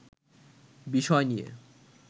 বিষয় নিয়ে